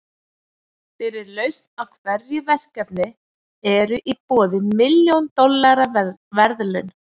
Fyrir lausn á hverju verkefni eru í boði milljón dollara verðlaun.